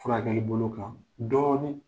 Furakɛli bolo kan dɔɔnin.